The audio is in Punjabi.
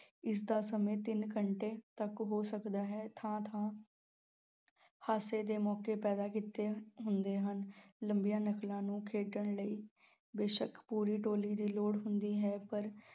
ਇਸ ਦਾ ਸਮੇਂ ਤਿੰਨ ਘੰਟੇ ਤੱਕ ਹੋ ਸਕਦਾ ਹੈ, ਥਾਂ-ਥਾਂ ਹਾਸੇ ਦੇ ਮੌਕੇ ਪੈਦਾ ਕੀਤੇ ਹੁੰਦੇ ਹਨ, ਲੰਬੀਆਂ ਨਕਲਾਂ ਨੂੰ ਖੇਡਣ ਲਈ ਬੇਸ਼ੱਕ ਪੂਰੀ ਟੋਲੀ ਦੀ ਲੋੜ ਹੁੰਦੀ ਹੈ ਪਰ